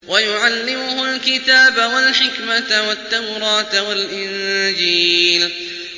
وَيُعَلِّمُهُ الْكِتَابَ وَالْحِكْمَةَ وَالتَّوْرَاةَ وَالْإِنجِيلَ